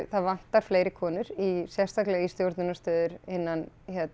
það vantar fleiri konur sérstaklega í stjórnunarstöður innan